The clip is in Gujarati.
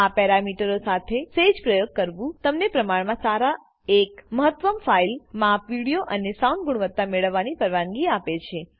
આ પેરામીટરો સાથે સેજ પ્રયોગ કરવું તમને પ્રમાણ માં સારી એક મહત્તમ ફાઈલ માપ વિડીઓ અને સાઉન્ડ ગુણવત્તા મેળવવાની પરવાનગી આપે છે